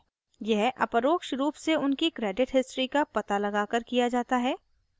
यह अपरोक्ष रूप से उनकी credit history का पता लगाकर किया जाता है